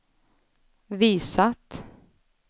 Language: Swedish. visat